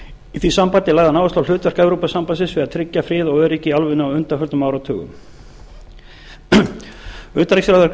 í því sambandi lagði hann áherslu á hlutverk evrópusambandsins við að tryggja frið og öryggi í álfunni á undanfarna áratugum utanríkisráðherra